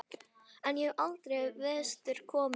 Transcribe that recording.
En ég hef aldrei vestur komið.